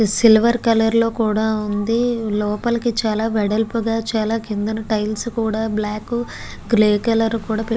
Silver colour లో కూడా వుంది. లోపలికి చాల వెడల్లపుగా చాల కిందపు టైల్స్ తో బ్లాకు గ్రే కలర్ లో కూడా --